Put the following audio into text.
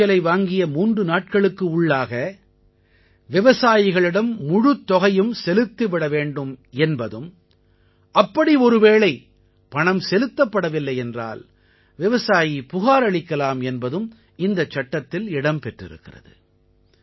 விளைச்சலை வாங்கிய மூன்று நாட்களுக்கு உள்ளாக விவசாயிகளிடம் முழுத் தொகையும் செலுத்தி விடவேண்டும் என்பதும் அப்படி ஒருவேளை பணம் செலுத்தப்படவில்லை என்றால் விவசாயி புகார் அளிக்கலாம் என்பதும் இந்தச் சட்டத்தில் இடம் பெற்றிருக்கிறது